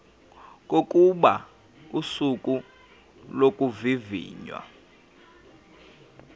kokuba usuku lokuvivinywa